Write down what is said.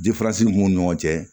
mun b'u ni ɲɔgɔn cɛ